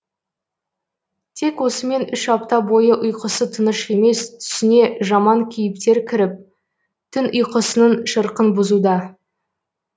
тек осымен үш апта бойы ұйқысы тыныш емес түсіне жаман кейіптер кіріп түн ұйқысының шырқын бұзуда